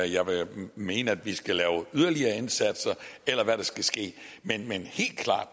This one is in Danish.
jeg vil mene at vi skal lave yderligere indsatser eller hvad der skal ske men